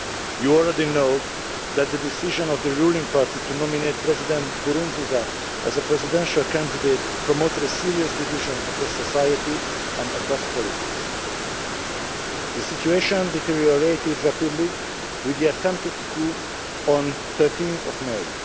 You already know that the decision of the ruling party to nominate President Nkurunziza as a presidential candidate promoted a serious division across society and across politics. The situation deteriorated rapidly with the attempted coup on 13 May.